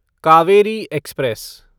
Kaveri express